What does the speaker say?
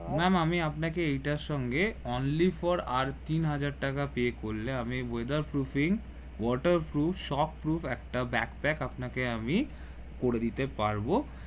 ma'am আমি আপনাকে এটার সঙ্গে only for আর তিন হাজার টাকা পে করলে আমি weather proofing waterproof shock proof একটা ব্যাগ প্যাক আপনাকে আমি করে দিতে পারবো